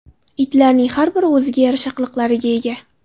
Itlarning har biri o‘ziga yarasha qiliqlarga ega.